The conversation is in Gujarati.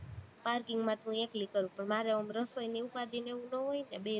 parking માં તો હું એકલી કરું, મારે એમ રસોઈની ઉપાદી ને એવું નો હોય ને, બે જણા